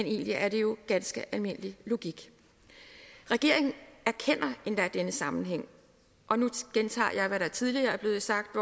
egentlig er det jo ganske almindelig logik regeringen erkender endda denne sammenhæng og nu gentager jeg hvad der tidligere er blevet sagt